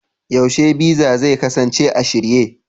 yaushe Visa zai kasance a shirye?